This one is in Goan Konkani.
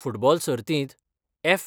फुटबॉल सर्तीत एफ.